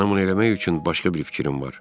mənə bunu eləmək üçün başqa bir fikrim var.